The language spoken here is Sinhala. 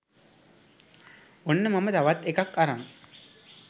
ඔන්න මම තවත් එකක් අරන්